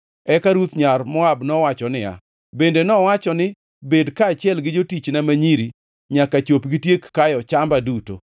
Eka Ruth nyar Moab nowacho niya, “Bende nowacho ni, ‘Bed kaachiel gi jotichna ma nyiri nyaka chop gitiek kayo chamba duto.’ ”